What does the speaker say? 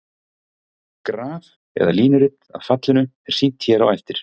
Graf eða línurit af fallinu er sýnt hér á eftir.